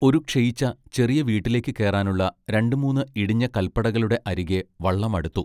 ഒരു ക്ഷയിച്ച ചെറിയ വീട്ടിലേക്ക് കേറാനുള്ള രണ്ടു മൂന്ന് ഇടിഞ്ഞ കല്പടകളുടെ അരികെ വള്ളം അടുത്തു.